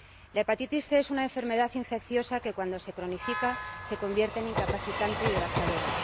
La hepatitis C es una enfermedad infecciosa que, cuando se cronifica, se convierte en incapacitante y devastadora.